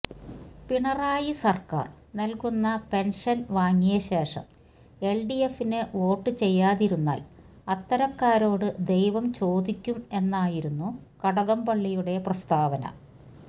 പിണറായി സർക്കാർ നൽകുന്ന പെൻഷൻ വാങ്ങിയ ശേഷം എൽഡിഎഫിന് വോട്ട് ചെയ്യാതിരുന്നാൽ അത്തരക്കാരോട് ദൈവം ചോദിക്കും എന്നായിരുന്നു കടകംപള്ളിയുടെ പ്രസ്താവന